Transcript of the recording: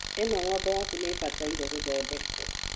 ĩno ng'ombe yaku nĩ ĩbataire gũthondekwo.